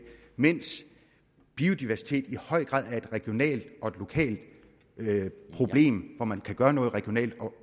mens biodiversitet i høj grad er et regionalt og lokalt problem hvor man kan gøre noget regionalt og